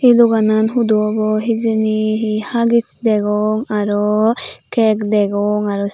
doganan hudu obow hijeni hi huggish degong aro cake degong aros.